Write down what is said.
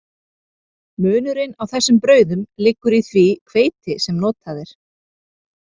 Munurinn á þessum brauðum liggur í því hveiti sem notað er.